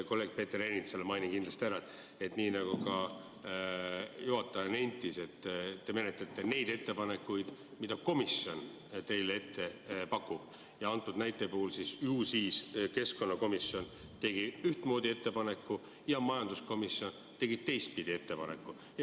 Kolleeg Peeter Ernitsale mainin kindlasti ära, nii nagu juhataja nentis, et te menetlete neid ettepanekuid, mida komisjon teile ette paneb, ja ju siis praegusel juhul on keskkonnakomisjon teinud ühtmoodi ettepaneku ja majanduskomisjon teistmoodi ettepaneku.